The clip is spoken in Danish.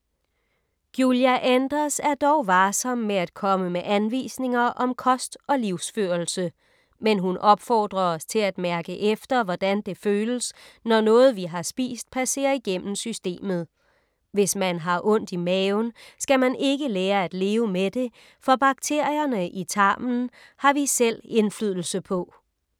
Giulia Enders er dog varsom med at komme med anvisninger om kost og livsførelse, men hun opfordrer os til at mærke efter, hvordan det føles, når noget vi har spist passerer igennem systemet. Hvis man har ondt i maven, skal man ikke lære at leve med det, for bakterierne i tarmen har vi selv indflydelse på.